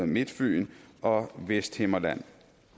midtfyn og vesthimmerland